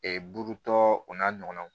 burutɔ o n'a ɲɔgɔnnaw